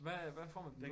Hvad hvad får man